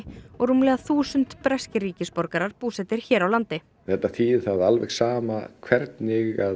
og rúmlega þúsund breskir ríkisborgarar búsettir hér á landi þetta þýðir það að alveg sama hvernig